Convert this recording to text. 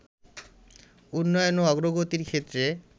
উন্নয়ন ও অগ্রগতির ক্ষেত্রে